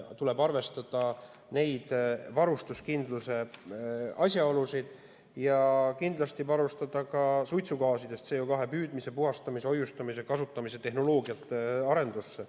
Tuleb arvestada neid varustuskindluse asjaolusid ja kindlasti panustada ka suitsugaasidest CO2 püüdmise, puhastamise, hoiustamise ja kasutamise tehnoloogiate arendusse.